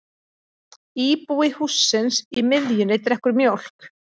Íbúi hússins í miðjunni drekkur mjólk.